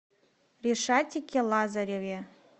ришатике лазареве